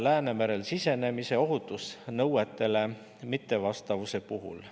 Läänemerele sisenemine ohutusnõuetele mittevastavuse puhul.